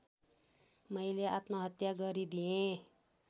मैले आत्महत्या गरिदिएँ